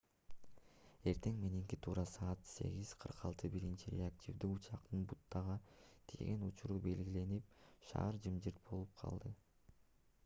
эртең мененки туура саат 08:46 биринчи реактивдүү учактын бутага тийген учуру белгиленип шаар жымжырт болуп калды